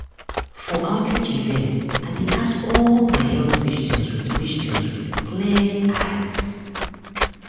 for outreach events i dey ask all my health questions with questions with clear eyes.